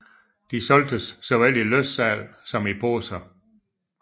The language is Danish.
De solgtes i såvel løssalg som i poser